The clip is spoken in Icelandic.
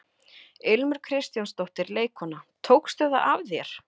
Ilmur Kristjánsdóttir, leikkona: Tókstu það af þér?